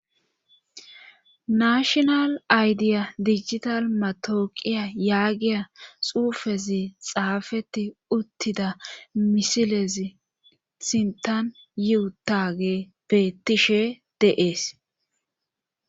Nashonal aydiya digital matooqiya yaagiya xuufezi xaafeti uttida misilezi sintan yiutage bettishe deees